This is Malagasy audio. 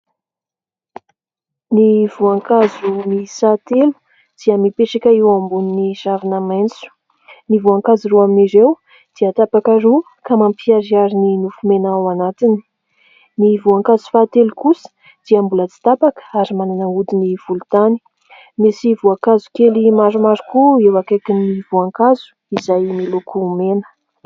Ny voankazo miisa telo dia mipetraka eo ambonin'ny ravina maitso. Ny voankazo roa amin'ireo dia tapaka roa ka mampiharihary ny nofo mena ao anatiny ; ny voankazo fahatelo kosa dia mbola tsy tapaka ary manana hodiny volontany. Misy voankazo kely maromaro koa eo akaikin'ny voankazo izay miloko mena.